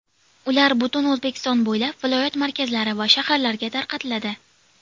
Ular butun O‘zbekiston bo‘ylab viloyat markazlari va shaharlarga tarqatiladi.